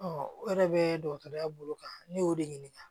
o yɛrɛ bɛ dɔgɔtɔrɔya bolo kan ne y'o de ɲininka